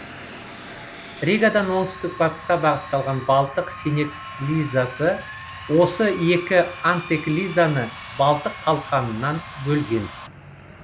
ригадан оңтүстік батысқа бағытталған балтық синеклизасы осы екі антеклизаны балтық қалқанынан бөлген